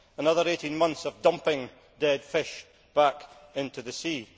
Another 18 months of dumping dead fish back into the sea.